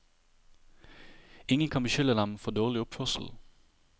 Ingen kan beskylde dem for dårlig oppførsel.